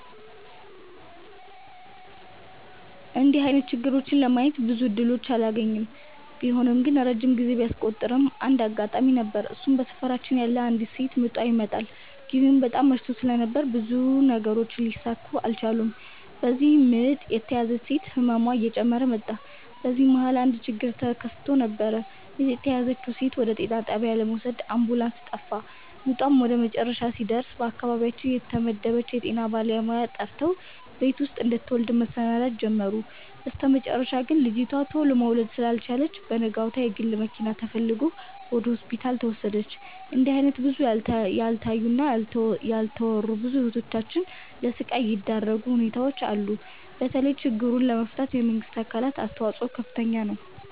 እንድህ አይነት ችግሮችን ለማየት ብዙም እድሎችን አላገኝም። ቢሆንም ግን ረጅም ጊዜ ቢያስቆጥርም አንድ አጋጣሚ ነበር እሱም በሰፈራችን ያለች አንዲት ሴት ምጧ ይመጠል። ግዜው በጣም መሽቶ ስለነበር ብዙ ነገሮች ሊሰካኩ አልቻሉም። በዚህም ምጥ የተያዘችው ሴት ህመሟ እየጨመረ መጣ። በዚህ መሀል አንድ ችግር ተከስቶ ነበር ምጥ የተያዘችውን ሴት ወደ ጤና ጣቢያ ለመውሰድ አምቡላንስ ጠፋ። ምጧም ወደመጨረሻ ሲደርስ በአካባቢያችን የተመደበችውን የጤና ባለሙያ ጠርተው ቤት ውስጥ እንድትወልድ መሰናዳት ጀመሩ። በስተመጨረሻ ግን ልጂቱ ቱሎ መውለድ ስላልቻለች በነጋታው የግል መኪና ተፈልጎ ወደ ሆስፒታል ተወሰደች። እንድህ አይነት ብዙ ያልታዩ እና ያልተወሩ ብዙ እህቶቻችን ለስቃይ የዳረጉ ሁኔታዎች አሉ። በተለይ ችግሩን ለመፍታት የመንግስት አካላት አስተዋጽኦ ከፍተኛ ነው።